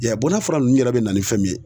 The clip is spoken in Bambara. I y'a n'a fura ninnu yɛrɛ be na ni fɛn min ye